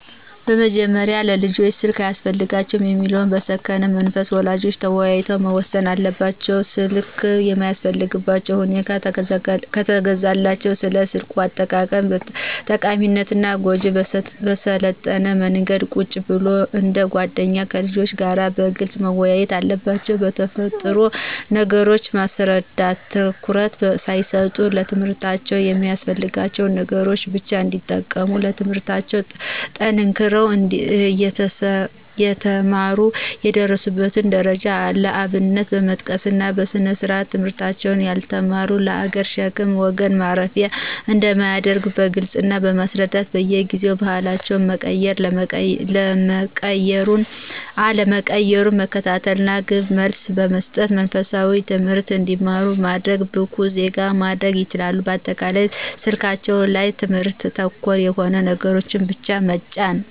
በመጀመሪያ ለልጆች ስልክ አያስፈልጋቸውም የሚለውን በሰከነ መንፈስ ወላጆች ተወያይተው መወሰን አለባቸው። ስልክ የሚያስፈልጋቸው ሁኖ ከተገዛላቸው ስለ ስልክ አጠቃቀም ጠቃሚነትና ጎጅነት በሰለጠነ መንገድ ቁጭ ብለው እንደ ጎደኛ ከልጆች ጋር በግልጽ መወያየት አለባቸው መጥፎ ነገሮችን በማስረዳት ትኩረት ሳይሰጡ ለትምህርታቸው የሚያስፈልጋቸውን ነገሮች ብቻ እንዲጠቀሙ ትምለህርታቸውን ጠንክረው የተማሩ የደረሱበትን ደረጃ ለአብነት በመጥቀስና በስርአት ትምህርታቸውን ያልተማሩት ለሀገር ሸክም ለወገን ማፈሪያ አንደሚያደርግ በግልጽ ማስረዳት በየጊዜው ባህሪያቸው መቀየር አለመቀየሩን መከታተልና ግብረመልስ መሰጠትና መንፈሳዊ ትምህርት እንዲማሩ በማድረግ ብቁ ዜጋ ማድረግ ይችላሉ። በአጠቃላይ ስልካቸው ላይ ትምህርት ተኮር የሆኑ ነገሮችን ብቻ መጫን